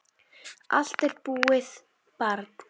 Allt er búið, barn.